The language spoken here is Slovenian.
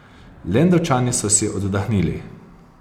Lendavčani so si oddahnili.